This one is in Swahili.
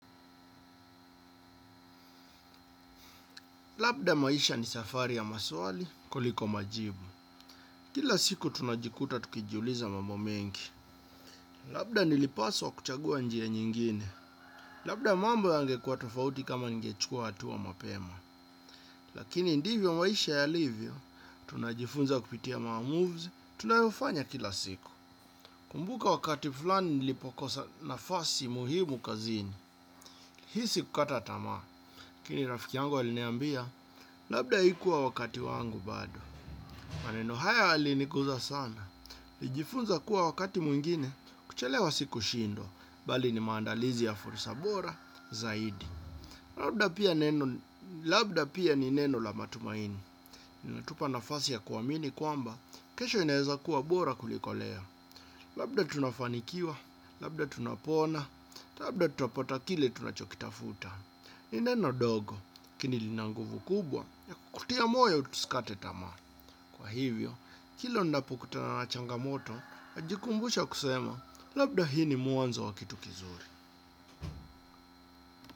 Labda maisha ni safari ya maswali, kuliko majibu. Kila siku tunajikuta tukijiuliza mambo mengi. Labda nilipaswa kuchagua njia nyingine. Labda mambo yangekuwa tofauti kama ningechukua hatua mapema. Lakini ndivyo maisha yalivyo, tunajifunza kupitia maamuzs, tunayofanya kila siku. Kumbuka wakati fulani nilipokosa nafasi muhimu kazini. Hisi kukata tamaa. Kini rafiki yangu aliniambia, labda ikuwa wakati wangu bado. Maneno haya yalinikuza sana. Lijifunza kuwa wakati mwingine, kuchelewa siku shindwa, bali ni maandalizi ya fursa bora zaidi. Labda pia ni neno la matumaini. Inatupa nafasi ya kuwamini kwamba, kesho inaeza kuwa bora kuliko leo. Labda tunafanikiwa, labda tunapona, labda tutapota kile tunachokitafuta. Ni neno dogo, lakini linanguvu kubwa, ya kukutia moyo tusikate tamaa. Kwa hivyo, kilo napo kutana na changamoto, najikumbusha kusema, labda hii ni mwanzo wa kitu kizuri.